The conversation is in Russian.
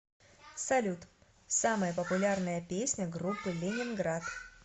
салют самая популярная песня группы лениниград